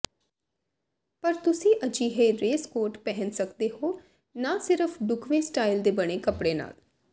ਪਰ ਤੁਸੀਂ ਅਜਿਹੇ ਰੇਸਕੋਟ ਪਹਿਨ ਸਕਦੇ ਹੋ ਨਾ ਸਿਰਫ ਢੁਕਵੇਂ ਸਟਾਈਲ ਦੇ ਬਣੇ ਕੱਪੜੇ ਨਾਲ